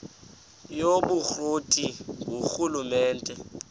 yobukro ti ngurhulumente